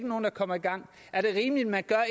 nogen der kommer i gang er det rimeligt at man gør